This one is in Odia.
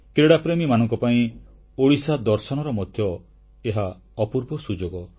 କ୍ରୀଡ଼ାପ୍ରେମୀମାନଙ୍କ ପାଇଁ ଓଡ଼ିଶା ଦର୍ଶନର ମଧ୍ୟ ଏହା ଅପୂର୍ବ ସୁଯୋଗ